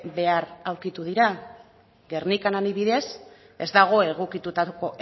behar aurkitu dira gernikan adibidez ez dago egokitutako